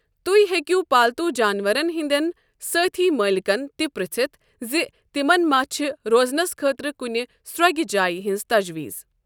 تہۍ ہیٚکِو پالتو جانوَرن ہِنٛدٮ۪ن سٲتھی مٲلِکن تہِ پٕرٛژِھتھ زِ تِمن ما چھےٚ روزنس خٲطرٕ کُنہِ سرٛۄگہِ جایہِ ہِنٛز تجویٖز۔